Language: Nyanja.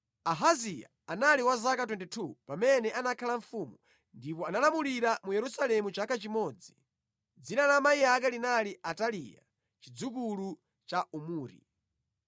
Ahaziya anali wa zaka 22 pamene anakhala mfumu ndipo analamulira mu Yerusalemu chaka chimodzi. Dzina la amayi ake linali Ataliya, chidzukulu cha Omuri.